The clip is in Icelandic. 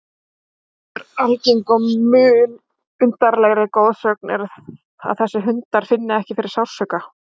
Önnur algeng og mun undarlegri goðsögn er að þessir hundar finni ekki fyrir sársauka.